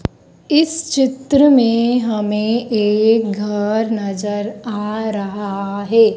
इस चित्र में हमें एक घर नजर आ रहा है।